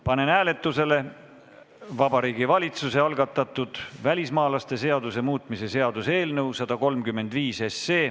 Panen hääletusele Vabariigi Valitsuse algatatud välismaalaste seaduse muutmise seaduse eelnõu 135.